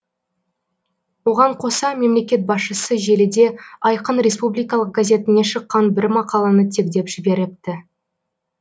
оған қоса мемлекет басшысы желіде айқын республикалық газетіне шыққан бір мақаланы тегтеп жіберіпті